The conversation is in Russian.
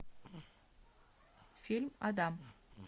фильм адам